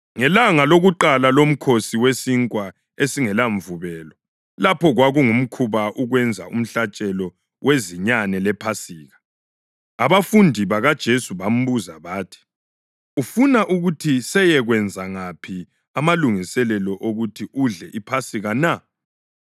Ngelanga lokuqala loMkhosi weSinkwa esingelaMvubelo, lapho kwakungumkhuba ukwenza umhlatshelo wezinyane lePhasika, abafundi bakaJesu bambuza bathi, “Ufuna ukuthi seyekwenza ngaphi amalungiselelo okuthi udle iPhasika na?”